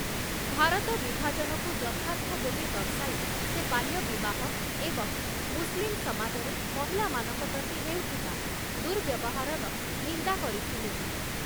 ଭାରତ ବିଭାଜନକୁ ଯଥାର୍ଥ ବୋଲି ଦର୍ଶାଇ ସେ ବାଲ୍ୟ ବିବାହ ଏବଂ ମୁସଲିମ ସମାଜରେ ମହିଳାମାନଙ୍କ ପ୍ରତି ହେଉଥିବା ଦୁର୍ବ୍ୟବହାରର ନିନ୍ଦା କରିଥିଲେ ।